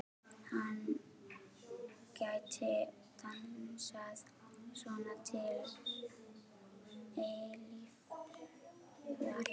Hann gæti dansað svona til eilífðar.